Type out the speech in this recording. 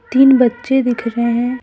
तीन बच्चे दिख रहे हैं।